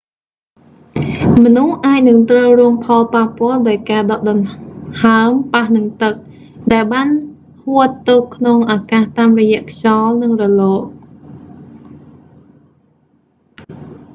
មនុស្សអាចនឹងត្រូវរងផលប៉ះពាល់ដោយការដកដង្ហើមប៉ះនឹងទឹក ដែលបានហួតទៅក្នុងអាកាសតាមរយៈខ្យល់ និងរលក